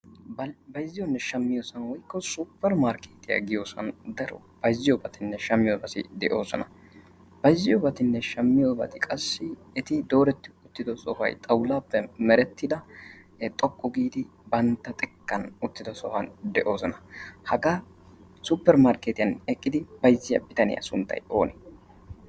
bayzziyoonne shamiyo woykko suppermarkkeetiya yaagiyo sohuwan bayzziyonne shamiyobati qassi eti dooreti uttido woykko xawlaa biolan bantta xekkan xoqqu giidi uttidosona. hagaa supermarkketiyan bayzziya bitaniya sunttay oonee?